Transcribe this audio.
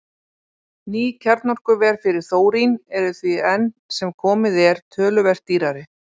Ný kjarnorkuver fyrir þórín eru því enn sem komið er töluvert dýrari.